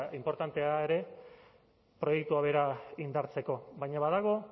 inportantea ere proiektua bera indartzeko baina badago